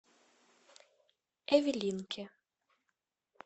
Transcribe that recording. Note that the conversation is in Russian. эвелинке